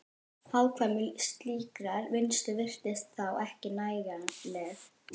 Hagkvæmni slíkrar vinnslu virtist þá ekki nægjanleg.